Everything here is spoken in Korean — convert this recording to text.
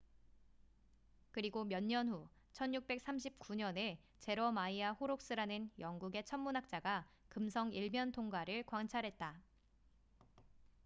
그리고 몇 년 후 1639년에 제러마이아 호록스라는 영국의 천문학자가 금성 일면통과를 관찰했다